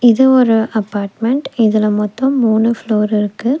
இது ஒரு அப்பார்ட்மெண்ட் இதுல மொத்தம் மூணு ஃப்ளோர் இருக்கு.